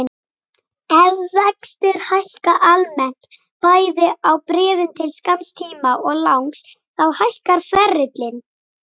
Ef vextir hækka almennt, bæði á bréfum til skamms tíma og langs, þá hækkar ferillinn.